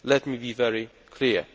Let me be very clear.